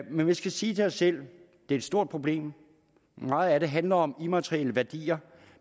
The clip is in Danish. men vi skal sige til os selv det er et stort problem meget af det handler om immaterielle værdier